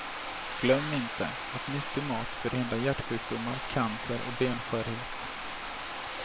Glöm inte att nyttig mat förhindrar hjärtsjukdomar, cancer och benskörhet.